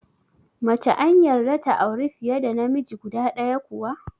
Mace an yarda ta auri fiye da namiji guda ɗaya kuwa?